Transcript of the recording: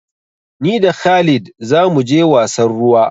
Ni da khalid za mu je wasan ruwa.